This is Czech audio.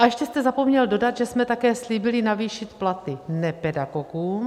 A ještě jste zapomněl dodat, že jsme také slíbili navýšit platy nepedagogům.